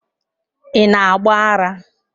Ị na agba ara.